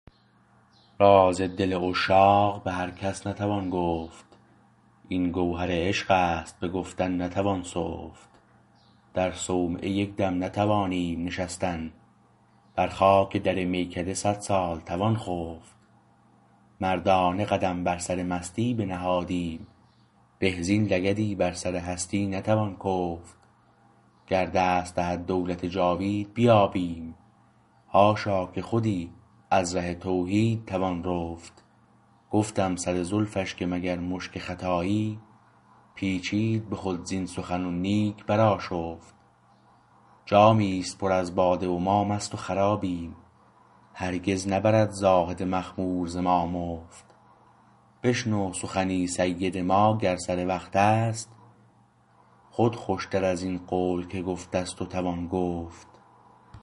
راز دل عشاق به هر کس نتوان گفت این گوهر عشقست بگفتن نتوان سفت در صومعه یک دم نتوانیم نشستن بر خاک در میکده صد سال توان خفت مردانه قدم بر سر مستی بنهادیم به زین لگدی بر سر هستی نتوان کفت گر دست دهد دولت جاوید بیابیم حاشا که خودی از ره توحید توان رفت گفتم سر زلفش که مگر مشک خطایی پیچید به خود زین سخن و نیک برآشفت جامیست پر از باده و ما مست و خرابیم هرگز نبرد زاهد مخمور ز ما مفت بشنو سخنی سید ما گر سر وقتست خود خوشتر ازین قول که گفت است و توان گفت